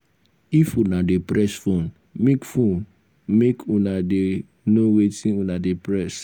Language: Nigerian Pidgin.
if una dey press phone make phone make una dey no wetin una dey press.